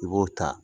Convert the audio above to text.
I b'o ta